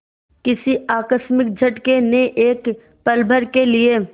किसी आकस्मिक झटके ने एक पलभर के लिए